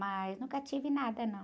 Mas nunca tive nada, não.